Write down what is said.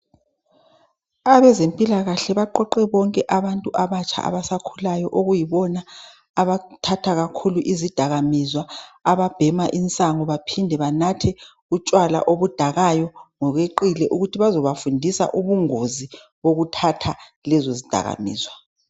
Abezempilakahle baqoqe bonke abantu abatsha abasakhulayo okuyibona abathatha kakhulu izidakamizwa ababhema insango baphinde banathe utshwala obudakayo ngokweqile ukuthi bazobafundisa ubungozi bokuthatha lezo zidakamizwa .